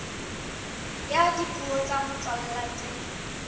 ya dipuo tsa motswalla tse